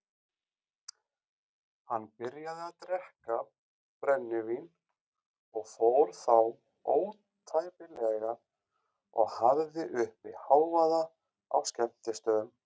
Hann byrjaði að drekka brennivín og fór þá ótæpilega og hafði uppi hávaða á skemmtistöðum.